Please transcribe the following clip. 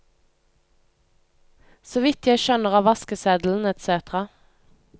Så vidt jeg skjønner av vaskeseddel etc.